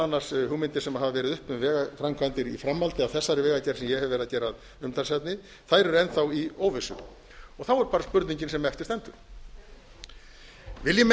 annars hugmyndir sem hafa verið uppi um vegaframkvæmdir í framhaldi af þessari vegagerð sem ég hef verið að gera að umtalsefni eru enn þá í óvissu þá er bara spurningin sem eftir stendur vilji menn